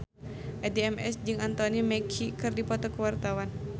Addie MS jeung Anthony Mackie keur dipoto ku wartawan